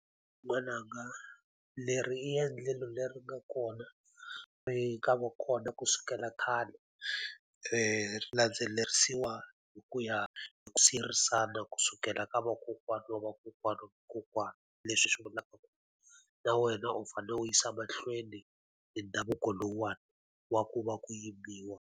N'wana nga leri i endlelo leri nga kona ri nga va kona kusukela khale, ri landzelerisiwa hi ku ya hi ku siyerisana kusukela ka vakokwana wa vakokwana wa kokwana. Leswi hi swi vulaka ku na wena u fanele u yisa mahlweni hi ndhavuko lowuwani, wa ku va ku yimbisiwa.